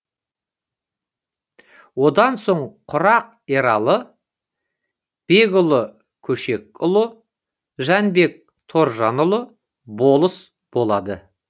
одан соң құрақ ералы бегұлы көшекұлы жанбек торжанұлы болыс болады